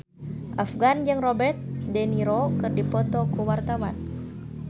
Afgan jeung Robert de Niro keur dipoto ku wartawan